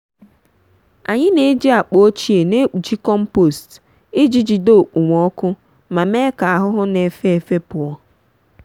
anyị n'eji akpa ochie n'ekpuchi kọmpost iji jide okpomọkụ ma mee ka ahụhụ n'efefe pụọ.